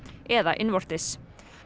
eða innvortis